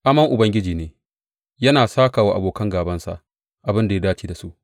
Amon Ubangiji ne yana sāka wa abokan gābansa abin da ya dace da su.